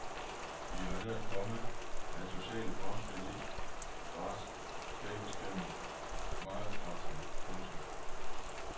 Vi har lært, komma at sociale fremskridt ikke bare skabes gennem markedskræfterne. punktum